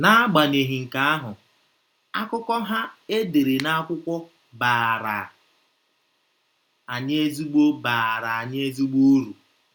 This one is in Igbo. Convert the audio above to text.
N’agbanyeghị nke ahụ, akụkọ ha e dere na akwụkwọ baara anyị ezigbo baara anyị ezigbo uru.